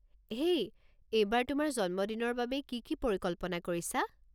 হেই, এইবাৰ তোমাৰ জন্মদিনৰ বাবে কি কি পৰিকল্পনা কৰিছা?